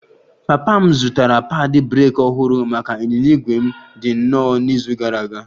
Papa m zụtara padi breeki ọhụrụ maka ịnyịnya ígwè m dị nnọọ n'izu gara aga